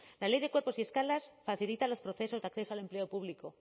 la ley de cuerpos y escalas facilita los procesos de acceso al empleo público